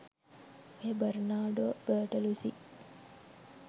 ඔය Bernardo Bertolucci